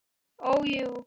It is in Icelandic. Ó, jú.